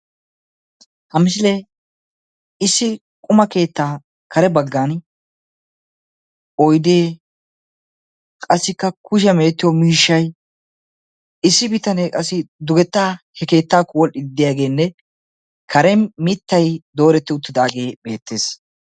Ha misilee issi quma keettaa kare baggaani oyidee, qassikka kushiyaa mee'ettiyo miishshay, issi bitanee qassi dugettaa he keettaakko wol'iiddi diyageenne karen mittay dooretti uttidaagee beettees.